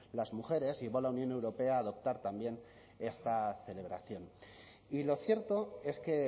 las mujeres y va la unión europea a adoptar también esta celebración y lo cierto es que